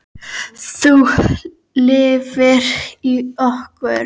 Þú lifir í okkur.